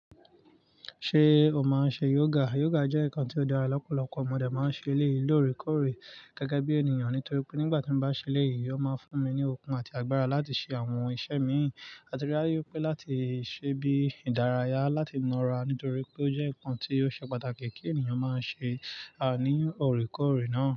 Ṣé o máa ń ṣe yoga? Yoga jẹ́ nǹkan tó dára, lọ́pọ̀lọpọ̀ modẹ̀ máa ń ṣe èléyìí lórèkórè gẹ́gẹ́ bí ènìyàn. Nítorí pé nígbà tí mo bá ṣe léè yìí, ó máa ń fún mi ní okun àti agbára láti ṣe àwọn iṣẹ́ mi. A ti rí i pé láti ṣe bí ìdárayá, láti na ra nítorí pé ó jẹ́ nǹkan tí ó ṣe pàtàkì kí ènìyàn máa ṣe á ní òrèkórè náà.